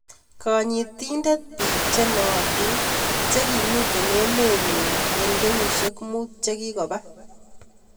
Kaayiitiintet biik chenooitin chekimiten emet nyuun en kenyishek muut chekikoba